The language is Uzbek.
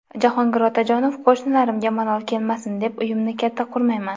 Jahongir Otajonov: Qo‘shnilarimga malol kelmasin deb, uyimni katta qurmayman .